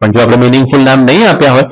જો પણ જો આપણે meaning full નામ નહિ આપ્યા હોય